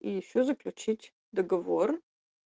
и ещё заключить договор